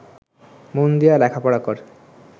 মন দিয়া লেখাপড়া কর